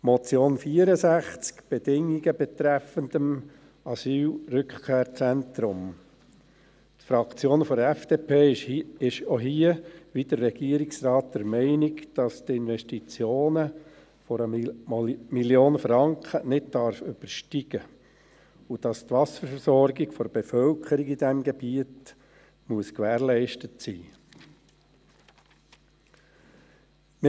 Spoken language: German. Zur Motion zum Traktandum 64, betreffend die Bedingungen des Asylrückkehrzentrums: Die Fraktion der FDP ist auch hier, wie der Regierungsrat, der Meinung, dass die Investitionen 1 Mio. Franken nicht übersteigen dürfen und dass die Wasserversorgung der Bevölkerung in diesem Gebiet gewährleistet sein muss.